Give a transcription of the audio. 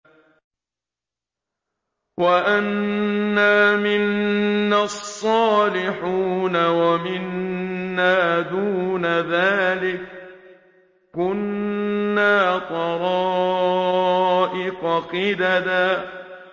وَأَنَّا مِنَّا الصَّالِحُونَ وَمِنَّا دُونَ ذَٰلِكَ ۖ كُنَّا طَرَائِقَ قِدَدًا